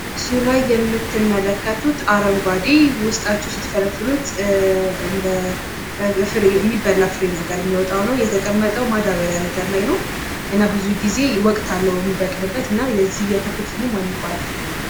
በስዕሉ ላይ የምትመለከቱት አረንጓዴ ዉስጣቸዉ ስትፈለፍሉት እንደ ፍሬ የሚበላ ፍሬ ነገር የሚወጣ ነዉ። እና ብዙ ጊዜ ወቅት አለዉ የሚበቅልበት የዚህ የፍሬ ተክል ስም ማን ይባላል?